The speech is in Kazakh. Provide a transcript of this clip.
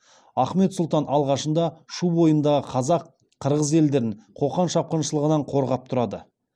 ахмет сұлтан алғашында шу бойындағы қазақ қырғыз елдерін қоқан шапқыншылығынан қорғап тұрады